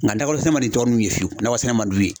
Nka nakɔ sɛnɛ man di tɔ ninnu ye fiyewu nakɔ sɛnɛ man d'u ye.